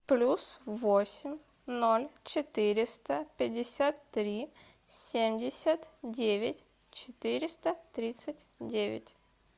плюс восемь ноль четыреста пятьдесят три семьдесят девять четыреста тридцать девять